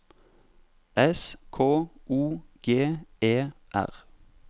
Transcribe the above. S K O G E R